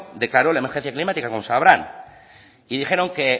declaró la emergencia climática como sabrán y dijeron que